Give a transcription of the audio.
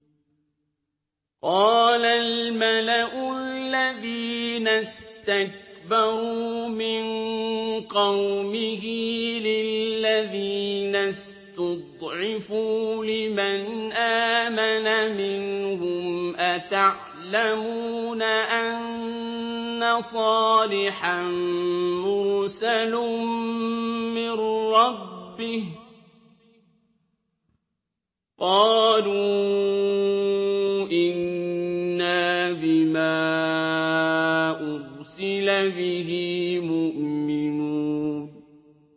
قَالَ الْمَلَأُ الَّذِينَ اسْتَكْبَرُوا مِن قَوْمِهِ لِلَّذِينَ اسْتُضْعِفُوا لِمَنْ آمَنَ مِنْهُمْ أَتَعْلَمُونَ أَنَّ صَالِحًا مُّرْسَلٌ مِّن رَّبِّهِ ۚ قَالُوا إِنَّا بِمَا أُرْسِلَ بِهِ مُؤْمِنُونَ